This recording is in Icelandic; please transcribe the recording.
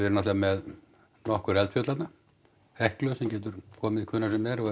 náttúrulega með nokkur eldfjöll þarna Heklu sem getur komið hvenær sem er og